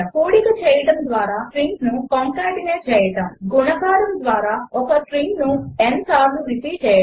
4 కూడిక చేయడము ద్వారా స్ట్రింగ్స్ను కంకాటినేట్ చేయడము 7 గుణకారము ద్వారా ఒక స్ట్రింగ్ను n సార్లు రిపీట్ చేయడము